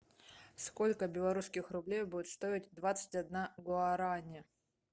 сколько белорусских рублей будет стоить двадцать одна гуарани